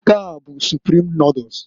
Nke a bụ Suprim noduls,